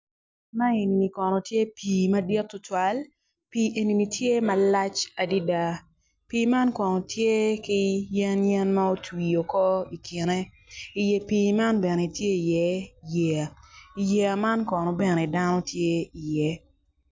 Ma enini kono tye pii madit tutwal pii enini tye malac adida pii man kono tye ki yen yen ma otwi oko i kine i iye pii man kono tye i iye yeya i yeya man kono dano bene tye iye